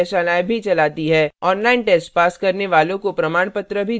online test pass करने वालों को प्रमाणपत्र भी देते हैं